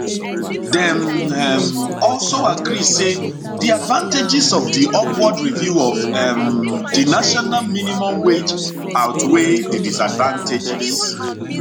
dem um also agree say di advantages of di upward review of um di national minimum wage outweigh di disadvantages